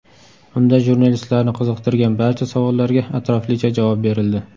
Unda jurnalistlarni qiziqtirgan barcha savollarga atroflicha javob berildi.